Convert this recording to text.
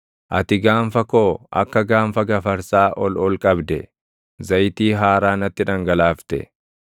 Ati gaanfa koo akka gaanfa gafarsaa ol ol qabde; zayitii haaraa natti dhangalaafte.